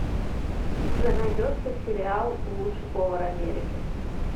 у тебя найдется сериал лучший повар америки